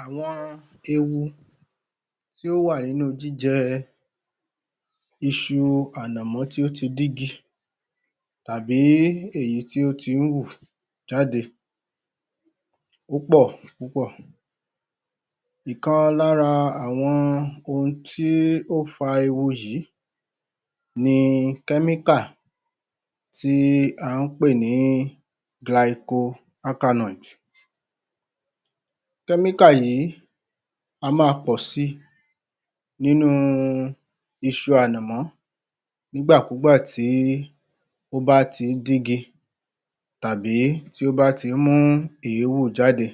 Àwọn ewu tí ò wà nínú jíjẹ iṣu ànàmọ́ tí ó ti dígi tàbí èyí tí ó tí hù jáde púpọ̀ púpọ̀. Ìkan lára àwọn ohun tí ó fa ewu yí ni kẹ́míkà tí a ń pè ní [Glycoalkaloid]. Kẹ́míkà yìí a máa pọ̀ si nínú iṣu ànàmọ́ nígbàkúgbà tí ó bá ń tí dígi tàbí tí ó bá ti hù èérù jáde.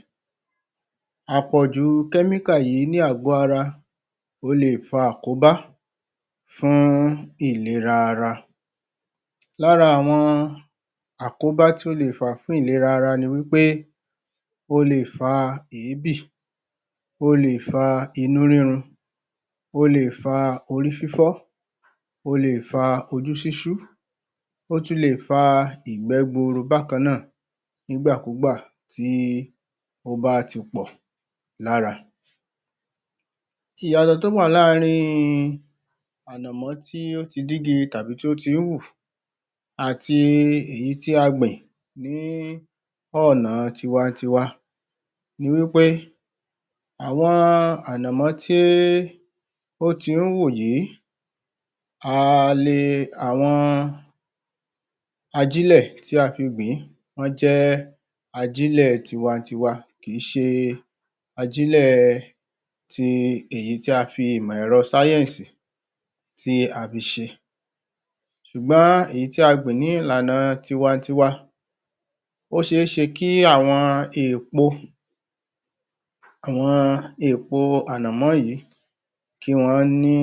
À pọ̀ jù kẹ́míkà yìí ni àgọ́ ara o lè fa àkóbá fún ìlera ara. Lára àwọn àkóbá tí ó lè fa fún ìlera ara ni wí pé, ó le fa èébì, ó le fa inú rírun, ó le fa orí fífọ́, ó le fa ojú ṣíṣú, ó tún lè fa ìgbẹ́ gburu bákan náà, nígbàkúgbà tí ó bá ti pọ̀ lára. Ìyàtọ̀ tí o wà láàárín ànàmọ́ tí ó ti dígi tàbí tí ó tí hù àti èyí tí a gbìn ní ọ̀nà tiwa tiwa ni wí pé àwọn ànàmọ́ tí ó ti wù yìí, a le, àwọn ajílẹ̀ tí a fi gbìn wọ́n jẹ́ ajílẹ̀ tiwa n tiwa kì í ṣe ajílẹ̀ èyí tí a fi ìmọ̀ ẹ̀rọ sáyẹ́ǹsì tí a fi ṣe. Ṣùgbọ́n èyí tí a gbìn ní ìlànà tiwa tiwa, ó sẹ é ṣe kí àwọn èèpo, àwọn èèpo ànàmọ́ yìí kí wọn ní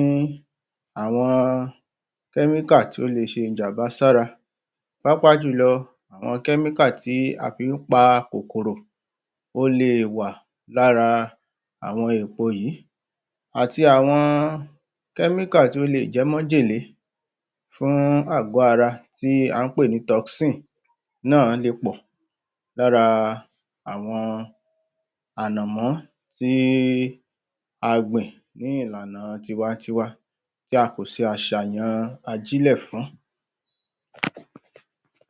àwọn kẹ́míkà tí ó lè ṣe ìjàmbá sí ara pàápàá jù lọ àwọn kẹ́míkà tí a fi ń pa kòkòrò ó le wà lára àwọn èèpo yí àti àwọn kẹ́míkà tí ó lè jẹ́ májèlé fún àgọ́ ara tí a ń pè ni toxin náà le pọ̀ lára àwọn ànàmọ́ tí a gbìn ní ìlànà tiwa tiwa tí a kò ṣe àṣàyàn àjílẹ̀ fún.